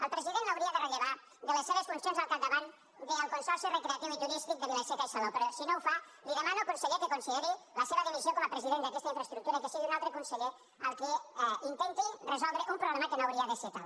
el president l’hauria de rellevar de les seves funcions al capdavant del consorci recreatiu i turístic de vila seca i salou però si no ho fa li demano conseller que consideri la seva dimissió com a president d’aquesta infraestructura i que sigui un altre conseller el que intenti resoldre un problema que no hauria de ser tal